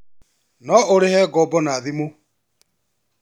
No ũrĩhe ngombo na thimu